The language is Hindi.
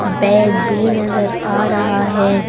बैग भी नजर आ रहा है।